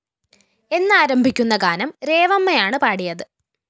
എന്നാരംഭിക്കുന്ന ഗാനം രേവമ്മയാണ് പാടിയത്